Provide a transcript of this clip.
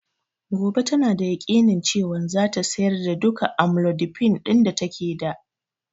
Gobe tana da yakinin cewan zata sayar da duka amlodipine ɗin da take da